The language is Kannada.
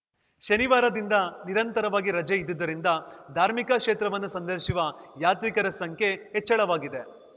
ಶನಿವಾರದಿಂದ ನಿರಂತರವಾಗಿ ರಜೆ ಇದ್ದುದರಿಂದ ಧಾರ್ಮಿಕ ಕ್ಷೇತ್ರವನ್ನು ಸಂದರ್ಶಿಸುವ ಯಾತ್ರಿಕರ ಸಂಖ್ಯೆ ಹೆಚ್ಚಳವಾಗಿದೆ